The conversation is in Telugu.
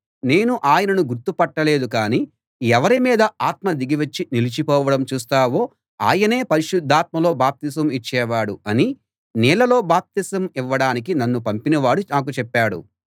నేను ఆయనను గుర్తు పట్టలేదు కాని ఎవరి మీద ఆత్మ దిగివచ్చి నిలిచిపోవడం చూస్తావో ఆయనే పరిశుద్ధాత్మలో బాప్తిసం ఇచ్చేవాడు అని నీళ్ళలో బాప్తిసం ఇవ్వడానికి నన్ను పంపినవాడు నాకు చెప్పాడు